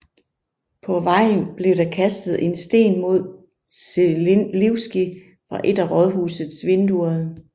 På vejen blev der kastet en sten mod Želivský fra et af rådhusets vinduer